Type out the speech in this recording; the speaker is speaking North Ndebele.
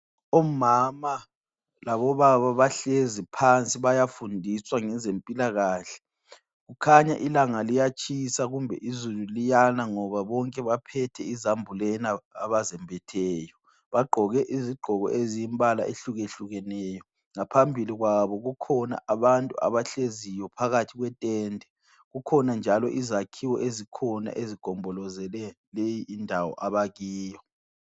Omama labobaba bahlezi phansi bayafundiswa ngezempilakahle. Kukhanya ilanga liyatshisa kumbe izulu liyana ngoba bonke baphethe izambulena abazembetheyo. Bagqoke izigqoko eziyimbala ehlukehlukeneyo. Ngaphambili kwabo kukhona abantu abahleziyo phakathi kwetende. Kukhona njalo izakhiwo ezikhona ezigombolozele leyi indawo abakiyo.